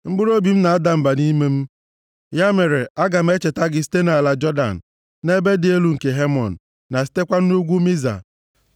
Mkpụrụobi m na-ada mba nʼime m; ya mere, aga m echeta gị site nʼala Jọdan, na ebe dị elu nke Hemon, + 42:6 Hemon bụ obodo dị nʼoke ala nkwa ahụ nʼebe ugwu. na sitekwa nʼugwu Miza.